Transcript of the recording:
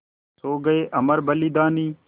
सो गये अमर बलिदानी